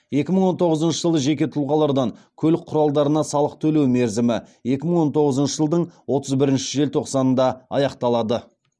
екі мың он тоғызыншы жылы жеке тұлғалардан көлік құралдарына салық төлеу мерзімі екі мың он тоғызыншы жылдың отыз бірінші желтоқсанында аяқталады